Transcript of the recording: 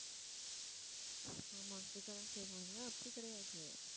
ஆமா கேட்கத்தான் செய்வாங்க அப்படி கிடையாது